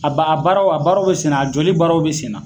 A ba a baaraw a baaraw bɛ sen, a jɔli baaraw bɛ sen na.